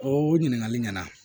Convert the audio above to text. O ɲininkali ɲɛna